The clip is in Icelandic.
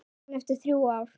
Staðan eftir þrjú ár?